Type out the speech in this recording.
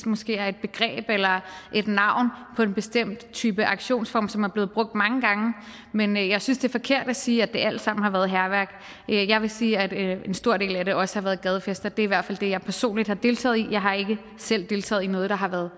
måske er et begreb eller et navn på en bestemt aktionsform som er blevet brugt mange gange men jeg synes det er forkert at sige at det alt sammen har været hærværk jeg vil sige at en stor del af det også har været gadefester det er i hvert fald det jeg personligt har deltaget i jeg har ikke selv deltaget i noget der har været